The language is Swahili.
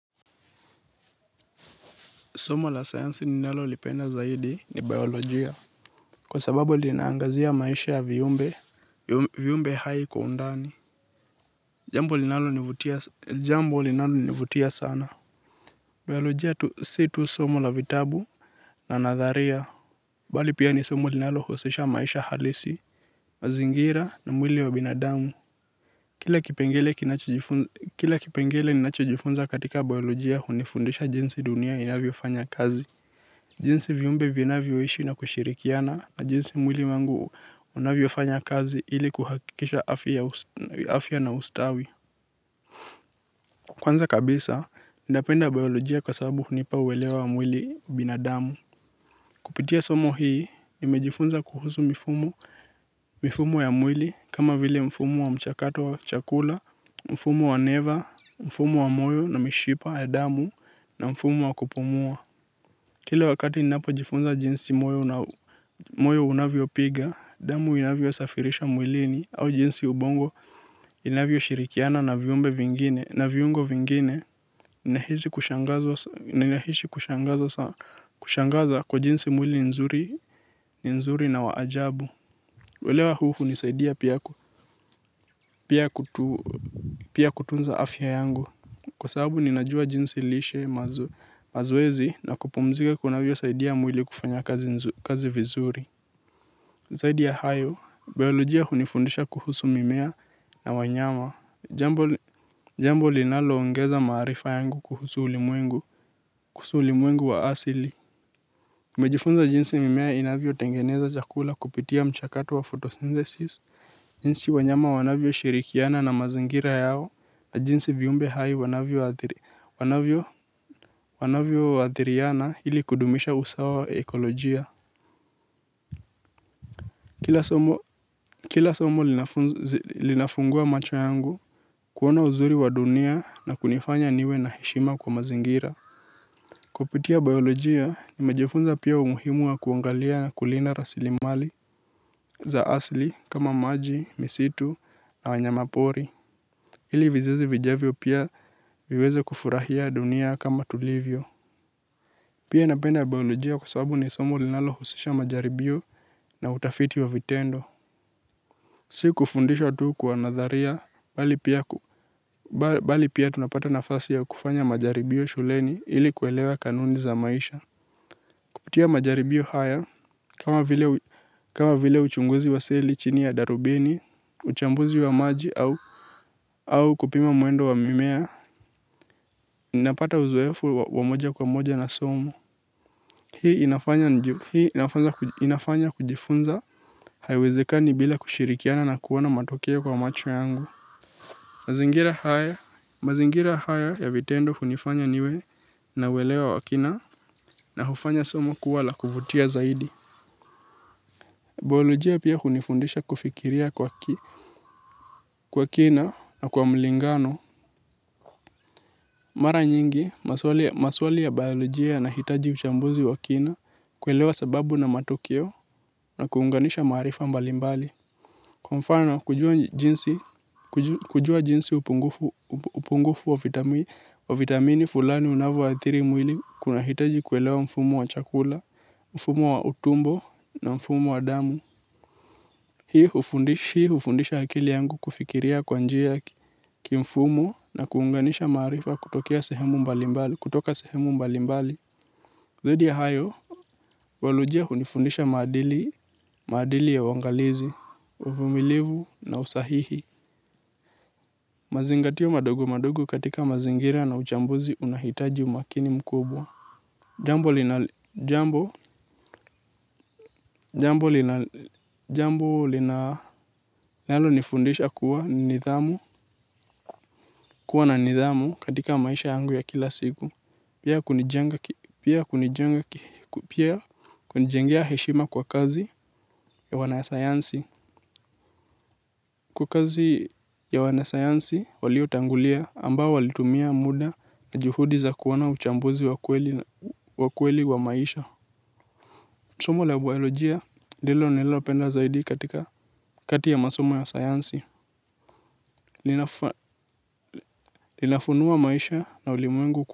Somo la sayansi ninalolipenda zaidi ni bayolojia. Kwa sababu linaangazia maisha ya viumbe, viumbe hai kwa undani. Jambo linalonivutia sana. Biayolojia si tu somo la vitabu na nadharia. Bali pia ni somo linalohusisha maisha halisi, mazingira na mwili wa binadamu. Kila kipengele ninachojifunza katika bayolojia hunifundisha jinsi dunia inavyofanya kazi. Jinsi viumbe vinavyoishi na kushirikiana na jinsi mwili wangu unavyofanya kazi ili kuhakikisha afya na ustawi. Kwanza kabisa, ninapenda bayolojia kwa sababu hunipa uelewa wa mwili wa binadamu. Kupitia somo hii, nimejifunza kuhusu mifumo ya mwili kama vile mfumo wa mchakato wa chakula, mfumo wa neva, mfumo wa moyo na mishipa ya damu na mfumo wa kupumua. Kila wakati ninapojifunza jinsi moyo unavyopiga, damu inavyosafirisha mwilini au jinsi ubongo inavyoshirikiana na viyumbe vingine na viungo vingine nahisi kushangazwa kwa jinsi mwili ni nzuri na wa ajabu. Uelewa huu hunisaidia pia ku pia kutunza afya yangu kwa sababu ninajua jinsi lishe mazoezi na kupumzika kunavyosaidia mwili kufanya kazi vizuri zaidi ya hayo bayolojia hunifundisha kuhusu mimea na wanyama jambo li jambo linaloongeza maarifa yangu kuhusu ulimwengu kuhusu ulimwengu wa asili. Nimejifunza jinsi mimea inavyotengeneza chakula kupitia mchakato wa photosynthesis. Jinsi wanyama wanavyoshirikiana na mazingira yao na jinsi viumbe hai wanavyoathiriana ili kudumisha usawa wa ekolojia kila somo linafungua macho yangu kuona uzuri wa dunia na kunifanya niwe na heshima kwa mazingira kupitia bayolojia nimejifunza pia umuhimu wa kuangalia na kulinda rasilimali za asili kama maji misitu na wanyama pori ili vizazi vijavyo pia viweze kufurahia dunia kama tulivyo. Pia napenda bayolojia kwa sababu ni somo linalohusisha majaribio na utafiti wa vitendo. Si kufundisha tu kwa nadharia bali pia tunapata nafasi ya kufanya majaribio shuleni ili kuelewa kanuni za maisha. Kupitia majaribio haya kama vile uchunguzi wa seli chini ya darubini, uchambuzi wa maji au kupima mwendo wa mimea napata uzoefu wa moja kwa moja na somo. Hii inafanya kujifunza haiwezekani bila kushirikiana na kuona matokeo kwa macho yangu. Mazingira haya ya vitendo hunifanya niwe na uelewa wa kina na hufanya somo kuwa la kuvutia zaidi. Bayolojia pia hunifundisha kufikiria kwa kina na kwa mlingano. Mara nyingi, maswali ya bayolojia yanahitaji uchambuzi wa kina kuelewa sababu na matukio na kuunganisha maarifa mbalimbali. Kwa mfano, kujua jinsi upungufu wa vitamini fulani unavyoathiri mwili kuna hitaji kuelewa mfumo wa chakula, mfumo wa utumbo na mfumo wa damu. Hii hufundisha akili yangu kufikiria kwa njia kimfumo na kuunganisha maarifa kutoka sehemu mbalimbali. Zaidi ya hayo, bayolojia hunifundisha maadili ya uangalizi, uvumilivu na usahihi. Mazingatio madogo madogo katika mazingira na uchambuzi unahitaji umakini mkubwa. Jambo lina, jambo, jambo lina, jambo lina, jambo linalo nifundisha kuwa nidhamu, kuwa na nidhamu katika maisha yangu ya kila siku. Pia kunijenga, pia kunijengea heshima kwa kazi ya wanasayansi. Kwa kazi ya wanasayansi, waliotangulia ambao walitumia muda na juhudi za kuwa na uchambuzi wa kweli wa kweli wa maisha. Somo la bayolojia ndilo nililopenda zaidi katika kati ya masomo ya sayansi linafaa linafunua maisha na ulimwengu.